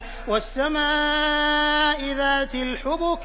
وَالسَّمَاءِ ذَاتِ الْحُبُكِ